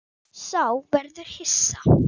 Sá verður hissa.